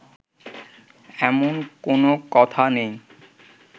এমন কোনো কথা নেই